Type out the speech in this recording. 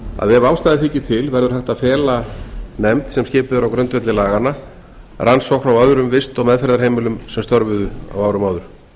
að ef ástæða þykir til verður hægt að fela nefnd sem skipuð er á grundvelli laganna rannsókn á öðrum vist og meðferðarheimilum sem störfuðu á árum áður